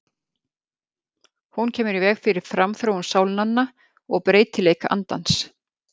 Hún kemur í veg fyrir framþróun sálnanna og breytileik andans.